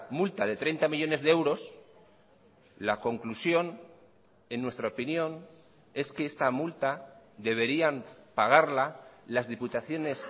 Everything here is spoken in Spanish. multa de treinta millónes de euros la conclusión en nuestra opinión es que esta multa deberían pagarla las diputaciones